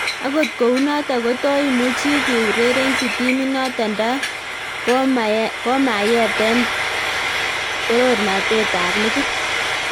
Agot kounoton, koto imuchi kiurerenchi timinoton nda komayeten toronatet ab ligit.